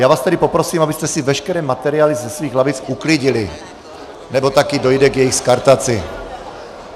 Já vás tedy poprosím, abyste si veškeré materiály ze svých lavic uklidili, nebo také dojde k jejich skartaci.